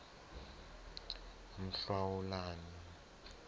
mhlawulani